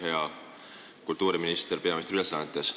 Hea kultuuriminister peaministri ülesannetes!